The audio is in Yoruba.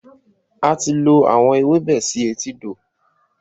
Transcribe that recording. A ti lọ àwọn ewébẹ̀ sì etídò